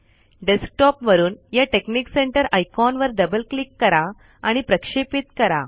desktop वरुन या technic center icon वर डबल क्लिक करा आणि प्रक्षेपित करा